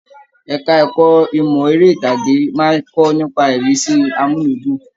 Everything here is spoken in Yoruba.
Ẹka ẹ̀kọ́ ìmọ eré itage máa n kọ nípa irisi amuludun.